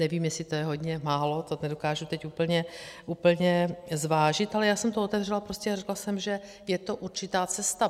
Nevím, jestli to je hodně, málo, to nedokážu teď úplně zvážit, ale já jsem to otevřela prostě a řekla jsem, že je to určitá cesta.